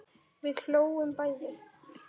Við hlógum bæði.